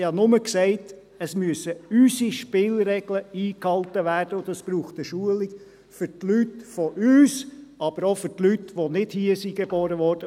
Ich habe nur gesagt, unsere Spielregeln müssten eingehalten werden, und dies braucht eine Schulung für die Leute von uns, aber auch für die Leute, die nicht hier geboren wurden.